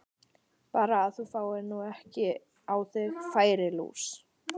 Bara að þú fáir nú ekki á þig færilús!